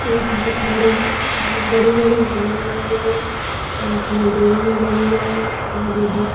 एक बोहोत बड़ी बोहोत बड़ी-बड़ी बिल्डिंग भी हैं और उसमे ग्रिल भी लगी है और उधर --